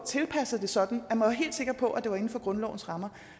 tilpasset sådan at man var helt sikker på at det var inden for grundlovens rammer